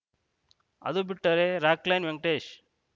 ಅದು ಬಿಟ್ಟರೆ ರಾಕ್‌ ಲೈನ್‌ ವೆಂಕಟೇಶ್‌